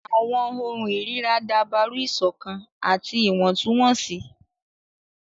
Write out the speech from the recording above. Àwọn ohùn irira dabaru iṣọkan ati iwọntunwọnsi.